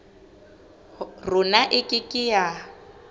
rona e ke ke ya